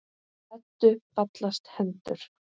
Eddu fallast hendur.